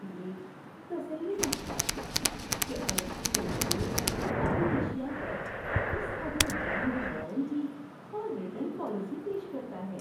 یہ تسلی بخش بات ہے کہ الیکٹریکل اسٹور اپنی اشیاء پر اس قدر جامع وارنٹی اور ریٹرن پالیسی پیش کرتا ہے۔